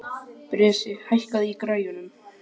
Bresi, hækkaðu í græjunum.